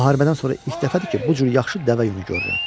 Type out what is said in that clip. Müharibədən sonra ilk dəfədir ki, bu cür yaxşı dəvə yunu görürəm.